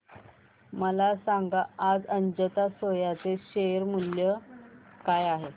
मला सांगा आज अजंता सोया चे शेअर मूल्य काय आहे